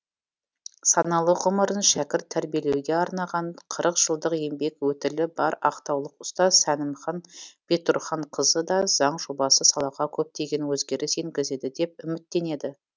саналы ғұмырын шәкірт тәрбиелеуге арнаған қырық жылдық еңбек өтілі бар ақтаулық ұстаз сәнімхан бектұрғанқызы да заң жобасы салаға көптеген өзгеріс енгізеді деп үміттенеді